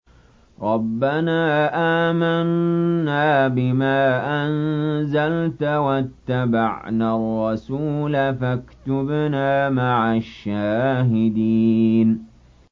رَبَّنَا آمَنَّا بِمَا أَنزَلْتَ وَاتَّبَعْنَا الرَّسُولَ فَاكْتُبْنَا مَعَ الشَّاهِدِينَ